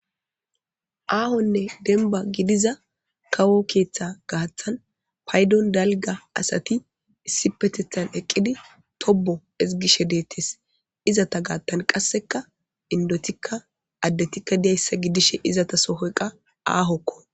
Aahonne denba gidiza kawo keeththa gaathan paydon dalga asati issi petethan eqqidi tobo ezgishe deettes izata gaattan qasseka indotikka addetikka diyayssa gidishe izata sohoyqa aahokko